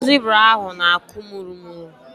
Ahụ zibra ahụ na-akwụ mụrụmụrụ..